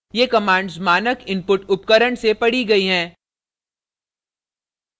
* ये commands मानक input उपकरण से पढ़ी गयी हैं